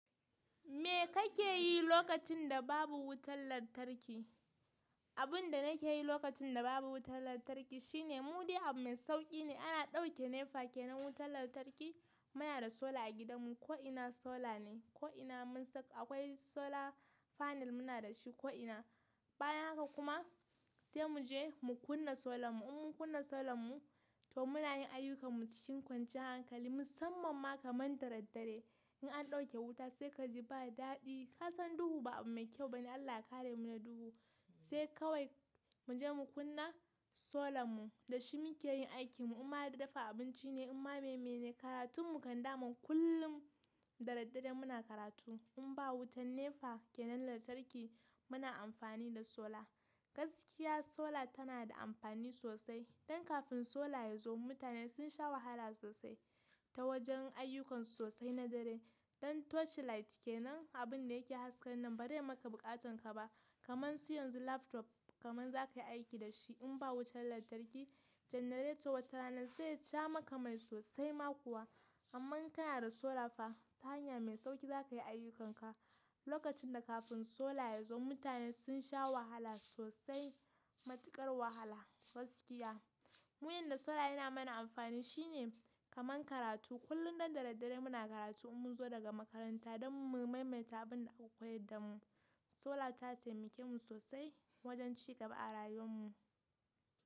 Me kake yi lokacin da babu wutar lantarki? Abin da nake yi lokacin da babu wutar lantarki shine, mu dai abu mai sauƙi ne. Ana ɗauke nepa ke nan wutar lantarki. Muna da solar a gidanmu, ko'ina solar ne, ko'ina mun saka akwai solar panel muna da shi ko'ina. Bayan haka kuma sai mu je mu kunna solan mu. In mun kunna solar mu, to muna yin ayyukarmu cikin kwanciyar hankali, musamman ma kaman daraddare. In an ɗauke wuta sai kaji ba daɗi. Ka san duhu ba abu mai kyau ba ne, Allah ya kare mu na duhu. Sai kawai mu je mu kunna solar mu, da shi muke yin aikimu. In ma d-dafa abinci ne, in ma maimai ne, karatun mu kan daman. Kullum daraddare muna karatu. In ba wutan nepa ke nan lantarki muna amfani da solar. Gaskiya solar tana da amfani sosai. Don kafin solar ya zo mutane sun sha wahala sosai ta wajen ayyukansu sosai na dare. Don torchlight ke nan, abun da yake hasken nan ba zai maka buƙatanka ba. Kaman su yanzu laptop kamar za ka yi aiki da shi in ba wutan lantarki. Generator wata rana zai sha maka mai sosai ma kuwa. Amma in kana da solar fa, ta hanya mai sauƙi za ka yi ayyukanka. Lokacin da kafin solar ya zo mutane sun sha wahala sosai, matuƙar wahala gaskiya. Mu inda solar yana mana amfani shi ne kamar karatu. Kullum don daraddare muna karatu in mun zo daga makaranta don mu maimaita abin da aka koyar da mu. Solar ta taimake mu sosai wajen ci gaba a rayuwan mu.